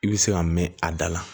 I bɛ se ka mɛn a da la